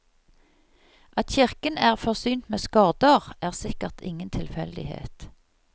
At kirken er forsynt med skorder er sikkert ingen tilfeldighet.